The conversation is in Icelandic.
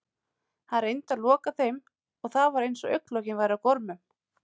Hann reyndi að loka þeim en það var eins og augnlokin væru á gormum.